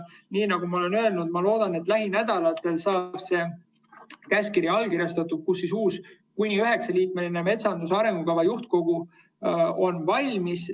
Nii nagu ma olen öelnud, ma loodan, et lähinädalatel saab see käskkiri allkirjastanud ja uus, kuni üheksaliikmeline metsanduse arengukava juhtkogu on valmis.